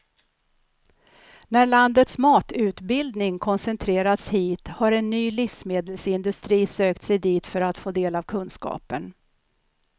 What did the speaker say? När landets matutbildning koncentrerats hit har en ny livsmedelsindustri sökt sig dit för att få del av kunskapen.